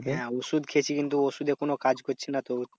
হ্যাঁ ওষুধ খেয়েছি কিন্তু ওষুধে কোনো কাজ করছে না তো।